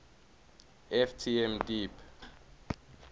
ft m deep